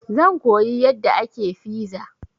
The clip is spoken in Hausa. Zan koyi yadda ake fiza.